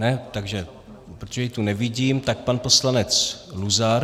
Ne, takže protože ji tu nevidím, tak pan poslanec Luzar.